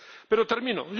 Pero termino